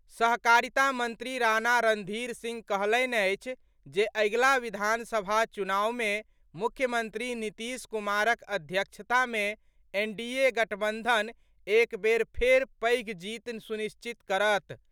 सहकारिता मंत्री राणा रणधीर सिंह कहलनि अछि जे अगिला विधानसभा चुनाव मे मुख्यमंत्री नीतीश कुमारक अध्यक्षता मे एनडीए गठबंधन एक बेर फेर पैघ जीत सुनिश्चित करत।